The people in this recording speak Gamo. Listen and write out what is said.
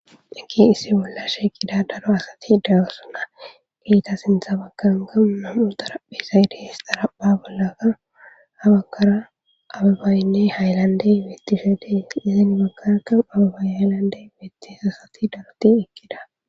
Issi bolla shiiqida daro asati de7oosona sintha baggankka naw7u xarapheezay de7ees. Xarapheezay bolankka abebayne haylanddey